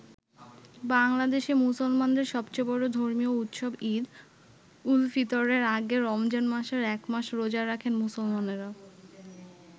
বাংলাদেশে মুসলমানদের সবচেয়ে বড় ধর্মীয় উৎসব ঈদ উল ফিতরের আগে রমজান মাসের এক মাস রোজা রাখেন মুসলমানেরা।